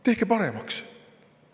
Tehke paremaks.